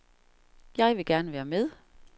Jeg vil gerne være med.